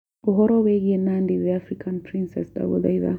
ũhoro wĩigie Nandi the African princess ndagũthaĩtha